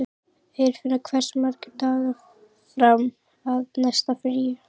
Eirfinna, hversu margir dagar fram að næsta fríi?